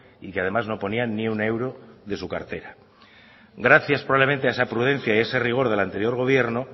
y que además no ponían ni un euro de su cartera gracias probablemente a esa prudencia y ese rigor del anterior gobierno